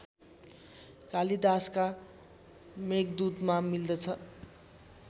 कालिदासका मेघदूतमा मिल्दछ